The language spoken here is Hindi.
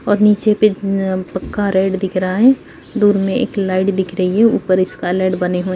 और नीचे पे पक्का रेड दिख रहा है| दूर में एक लाइट दिख रही है| ऊपर स्कालेड बने हुए --